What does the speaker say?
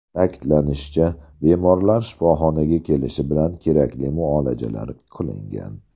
Ta’kidlanishicha, bemorlar shifoxonaga kelishi bilan kerakli muolajalar qilingan.